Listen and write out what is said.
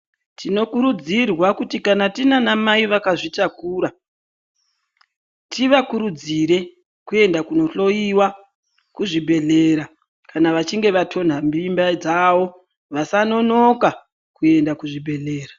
Tinokurudzirwa kuti kana tine ana mai vakazvitakura tivakurudzire kuenda kundohloiwa kuzvibhedhlera kana vachinge vatonta mimba dzawo vasanonoka kuenda kuzvibhedhlera .